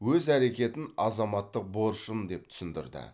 өз әрекетін азаматтық борышым деп түсіндірді